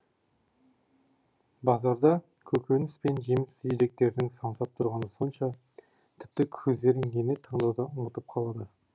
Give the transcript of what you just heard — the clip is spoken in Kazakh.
базарда көкеніс пен жеміс жидектердің самсап тұрғаны сонша тіпті көздерің нені таңдауды ұмытып қалады